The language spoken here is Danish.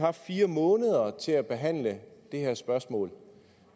haft fire måneder til at behandle det her spørgsmål